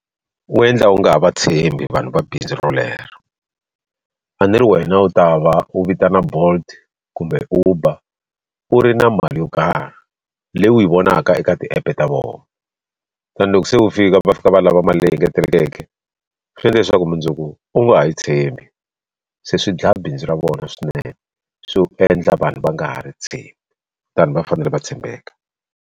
U endla u nga ha va tshembi vanhu va bindzu rolero a ni ri wena u ta va u vitana bolt kumbe uber u ri na mali yo karhi leyi u yi vonaka eka ti-app ta vona and loko se u fika va fika va lava mali leyi engetelekeke swi endla leswaku mundzuku u nga ha yi tshembi se swi dlaya bindzu ra vona swinene swi endla vanhu va nga ha ri tshembi tani va fanele va tshembeka.